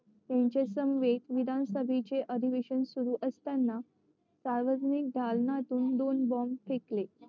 यांच्यासमवेत विधानसभेचे अधिवेशन सुरु असताना सार्वजनिक दालनातून दोन बोंब फेकले